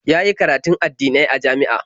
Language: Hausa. Ya yi karatun addinai a jami'a.